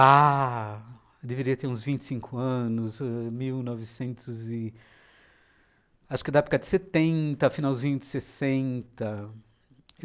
Ah, deveria ter uns vinte anos, ãh, mil novecentos e... Acho que era da época de setenta, finalzinho de sessenta.